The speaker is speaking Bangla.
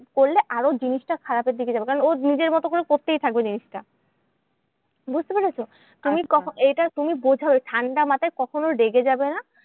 করলে আরো জিনিসটা খারাপের দিকে যাবে। কারণ ও নিজের মতো করে করতেই থাকবে জিনিসটা। বুঝতে পেরেছ? তুমি এটা তুমি বোঝাও ঠান্ডা মাথায়। কখনো রেগে যাবে না।